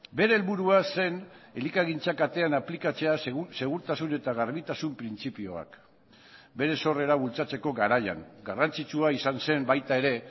bere helburua zen elikagintza katean aplikatzea segurtasun eta garbitasun printzipioak bere sorrera bultzatzeko garaian garrantzitsua izan zen baita ere